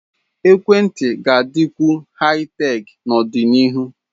Ekwentị ga-adịkwu Haị-Tek n'ọdịnihu.